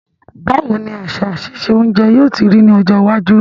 Báwoni àsà sise ounje yio ti rí ní ọjọ́ iwájú